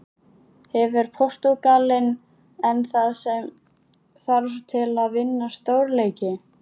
Hefur Portúgalinn enn það sem þarf til að vinna stórleiki?